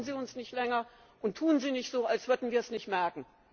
Verschaukeln Sie uns nicht länger, und tun Sie nicht so, als würden wir es nicht merken!